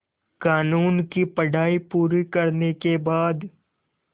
क़ानून की पढा़ई पूरी करने के बाद